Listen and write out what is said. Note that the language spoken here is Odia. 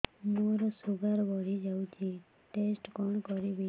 ମୋର ଶୁଗାର ବଢିଯାଇଛି ଟେଷ୍ଟ କଣ କରିବି